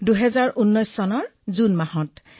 সেই শিবিৰত ৪০০ কেডেটে অংশগ্ৰহণ কৰিছিল